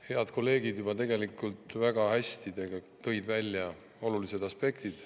Head kolleegid tõid tegelikult juba väga hästi esile olulised aspektid.